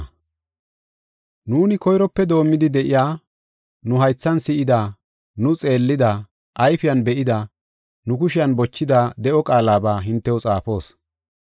Nuuni koyrope doomidi de7iya, nu haythan si7ida, nu xeellida, ayfen be7ida, nu kushen bochida de7o qaalaba hintew xaafoos.